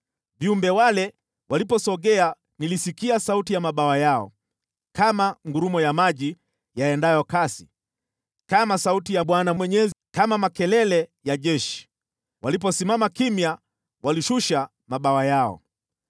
Viumbe wale waliposogea nilisikia sauti ya mabawa yao, kama ngurumo ya maji yaendayo kasi, kama sauti ya Mwenyezi, kama makelele ya jeshi. Waliposimama kimya walishusha mabawa yao.